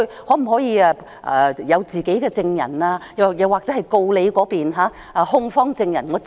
我可否有自己的證人，或由我親自盤問控方證人？